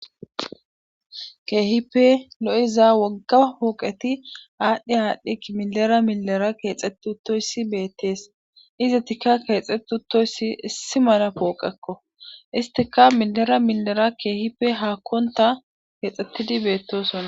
Keehippe lo'iza wogga pooqeti adhi adhi milera milera keexethi uthtoyssi beetees. izatikka keexeti utoyssi issi mala pooqekko isstikka milera milera keehippe haakonta keexetidi beetosona.